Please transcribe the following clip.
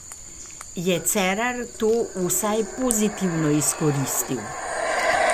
Je Cerar to vsaj pozitivno izkoristil?